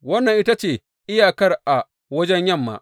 Wannan ita ce iyakar a wajen yamma.